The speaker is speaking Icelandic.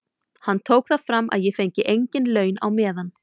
Hann tók það fram að ég fengi engin laun á meðan.